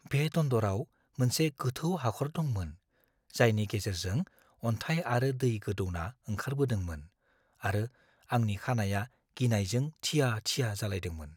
बे दन्दराव मोनसे गोथौ हाखर दंमोन, जायनि गेजेरजों अन्थाइ आरो दै गोदौना ओंखारबोदोंमोन आरो आंनि खानाइया गिनायजों थिया-थिया जालायदोंमोन।